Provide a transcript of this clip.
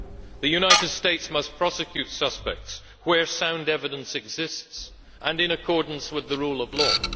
The United States must prosecute suspects, where sound evidence exists and in accordance with the rule of law.